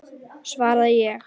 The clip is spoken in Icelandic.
svaraði ég.